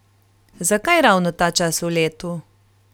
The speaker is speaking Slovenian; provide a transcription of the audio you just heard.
Zakaj ravno ta čas v letu?